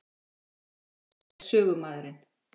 Ég er sögumaðurinn.